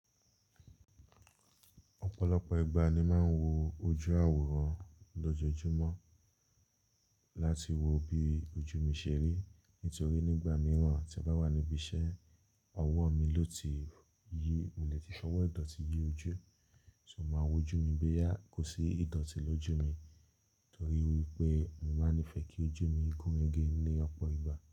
Ọ̀pọ̀lọpọ̀ ìgbà ni màá ń wo ojú àwòrán lojoojumo láti wo bí ojú mi ṣe rí. Nítorí nígbà mìíràn tí a bá wà níbí iṣẹ́, ọwọ́ mi lò ti yí, mo lè ti fowo ìdọ̀tí yí ojú e, ṣùgbọ́n màá wojú mi boya kò sí ìdọ̀tí lójú mi. Torí wípé mo máa ń nífẹ̀ kí ojú mi gúnrégé ní ọ̀pọ̀ ìgbà.